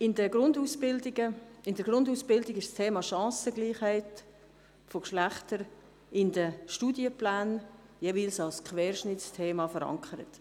In der Grundausbildung ist das Thema Chancengleichheit der Geschlechter in den Studienplänen jeweils als Querschnittsthema verankert.